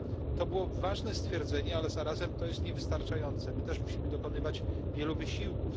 To było ważne stwierdzenie, ale zarazem to jest niewystarczające my też musimy dokonywać wielu wysiłków.